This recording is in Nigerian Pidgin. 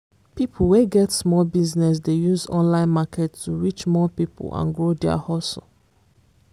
people wey get small business dey use online market to reach more people and grow their hustle.